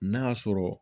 N'a sɔrɔ